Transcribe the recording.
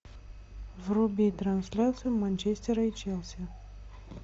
вруби трансляцию манчестера и челси